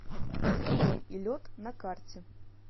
огонь и лед на карте